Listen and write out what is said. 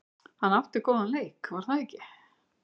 Hann átti góðan leik var það ekki?